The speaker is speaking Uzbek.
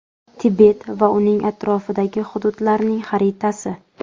Tibet va uning atrofidagi hududlarning xaritasi.